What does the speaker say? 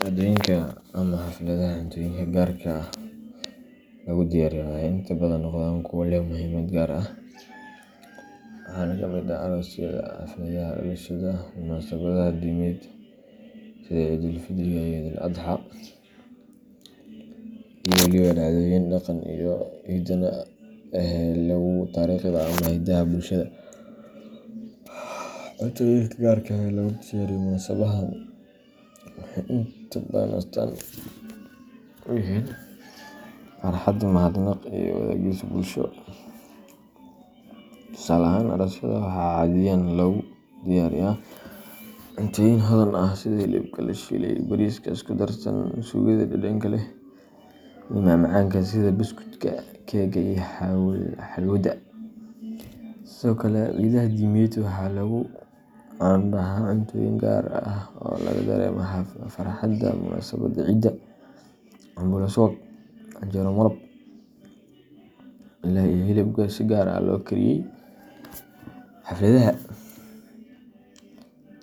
Dhacdooyinka ama xafladaha cuntooyinka gaarka ah lagu diyaariyo waxay inta badan noqdaan kuwa leh muhiimad gaar ah, waxaana ka mid ah aroosyada, xafladaha dhalashada, munaasabadaha diimeed sida Ciidul Fidriga iyo Ciidul Adxaa, iyo waliba dhacdooyinka dhaqanka iyo hidaha ee lagu xuso taariikhda ama hiddaha bulshada. Cuntooyinka gaarka ah ee lagu diyaariyo munaasabadahan waxay inta badan astaan u yihiin farxad, mahadnaq, iyo wadaagis bulsho. Tusaale ahaan, aroosyada waxaa caadiyan lagu diyaariyaa cuntooyin hodan ah sida hilibka la shiilay, bariiska isku darsan, suugada dhadhanka leh, iyo macmacaanka sida buskudka, keega iyo xalwada. Sidoo kale, ciidaha diimeed waxaa lagu caan baxaa cuntooyin gaar ah oo laga dareemo farxadda munaasabadda sida cambuulo subag leh, canjeero malab leh, iyo hilib si gaar ah loo kariyey. Xafladaha